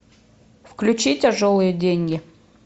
включи тяжелые деньги